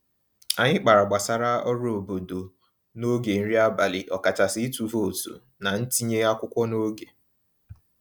Anyị kpara gbasara ọrụ obodo n'oge nri abalị, ọkachasị ịtụ vootu na ntinye akwụkwọ n'oge.